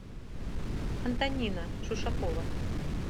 антонина шушакова